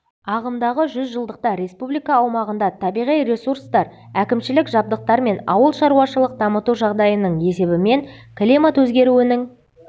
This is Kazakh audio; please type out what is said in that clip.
ағымдағы жүз жылдықта республика аумағында табиғи ресурстар әкімшілік жабдықтар мен ауыл шаруашылық дамыту жағдайының есебімен климат өзгеруінің